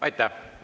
Aitäh!